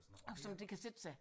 Sådan noget det kan sætte sig